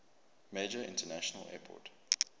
major international airport